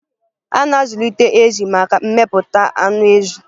A na-azụlite ezì maka mmepụta anụ ezi.